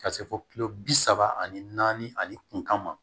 Ka se fo kilo bi saba ani naani ani kun ma